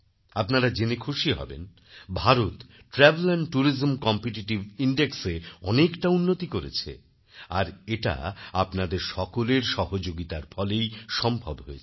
আপনারা জেনে খুশি হবেন Bharat travel and tourism competitive ইনডেক্সএ অনেকটা উন্নতি করেছে আর এটা আপনাদের সকলের সহযোগিতার ফলেই সম্ভব হয়েছে